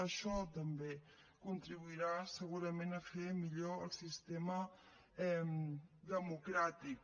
això també contribuirà segurament a fer millor el sistema democràtic